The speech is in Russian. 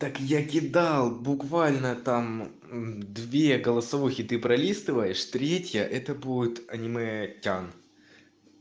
так я кидал буквально там две голосовухи ты пролистываешь третья это будет аниме тян